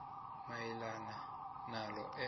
mayelana nalo enza